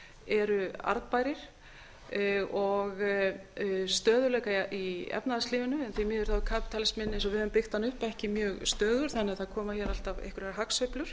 eru arðbærir og stöðugleika í efnahagslífinu en því miður er kapítalisminn eins og við höfum byggt hann upp ekki mjög stöðugur þannig að það koma hér alltaf einhverjar hagsveiflur